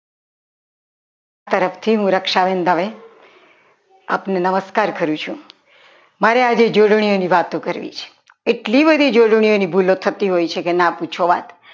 તરફથી હું રક્ષાબેન દવે આપણું નમસ્કાર કરું છું મારે આજે જોડણીઓની વાતો કરવી છે એટલી બધી જોડણીઓની ભૂલો થતી હોય છે કે ના પૂછો વાત